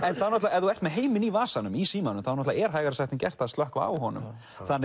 ef þú ert með heiminn í vasanum í símanum er hægara sagt en gert að slökkva á honum